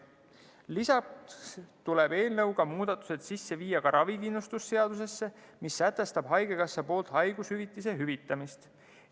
Lisaks tuleb eelnõuga muudatused sisse viia ravikindlustuse seadusesse, mis sätestab haigekassa poolt haigushüvitise maksmise.